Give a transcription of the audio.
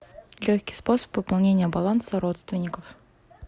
легкий способ пополнения баланса родственников